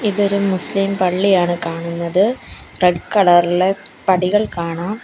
ഇതൊരു മുസ്ലിം പള്ളിയാണ് കാണുന്നത് റെഡ് കളറിലെ പടികൾ കാണാം.